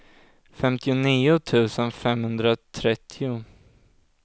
femtionio tusen femhundratrettio